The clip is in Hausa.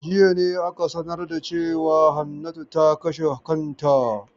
Jiya ne ake sanar da cewa Hannatu ta kashe kanta.